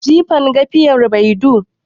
Jifan gafiyar baidu.